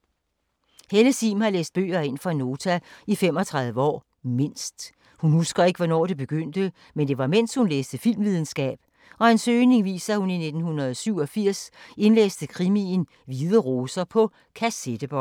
Helle Sihm har læst bøger ind for Nota i 35 år. Mindst. Hun husker ikke, hvornår det begyndte, men det var mens, hun læste filmvidenskab og en søgning viser, at hun i 1987 indlæste krimien Hvide Roser på kassettebånd.